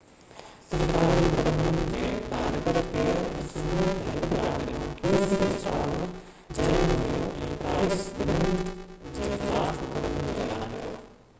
سرڪاري مقدمن جي ڊائريڪٽر ڪيئر اسٽارمر qc اڄ صبح هڪ بيان ڏنو جنهن ۾ هيون ۽ پرائس ٻنهي جي خلاف مقدمي جو اعلان ڪيو